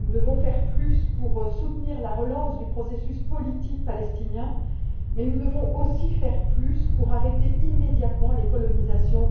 Nous devons faire plus pour soutenir la relance du processus politique palestinien, mais nous devons aussi faire plus pour arrêter immédiatement les colonisations